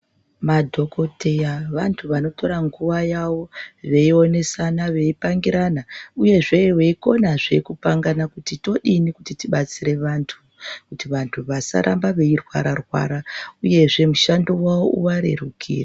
Madhokodheya vanthu vanotora nguwa yavo veionesana veipangirana uyezve veikonazve kupangana kuti todini kuti tibatsire vanthu kuti vanthu vasaramba veirwara rwara uyezve mushando wavo uvarerukire.